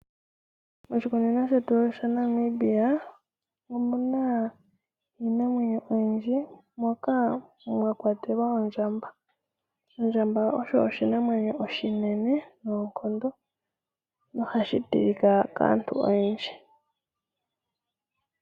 Moshikunino shetu shaNamibia omuna iinamwenyo oyindji, moka mwa kwatelwa ondjamba. Ondjamba oshinamwenyo oshinene noonkondo, noha shi tilika kaantu oyendji.